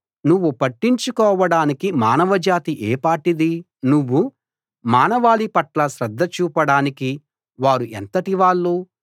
నువ్వు పట్టించుకోవడానికి మానవజాతి ఏ పాటిది నువ్వు మానవాళి పట్ల శ్రద్ధ చూపడానికి వారు ఎంతటివాళ్ళు